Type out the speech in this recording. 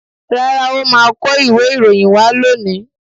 Rárá, ọ́ máa kó ìwé ìròyìn wá lónìí.